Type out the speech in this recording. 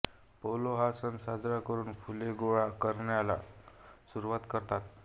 polo हा सण साजरा करून फुले गोळा करण्याला सुरुवात करतात